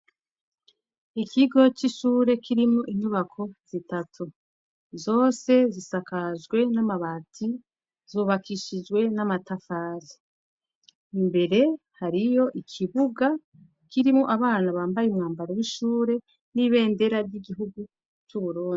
ikigo c'ishure kirimwo inyubako zitatu zose zisakajwe n'amabati zubakishijwe n'amatafari imbere hariyo ikibuga kirimwo abana bambaye umyambaro w'ishure n'ibendera ry'igihugu c'uburundi